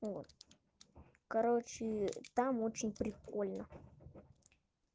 короче там очень прикольно